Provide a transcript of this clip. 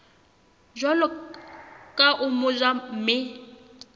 jwalo ka o motjha mme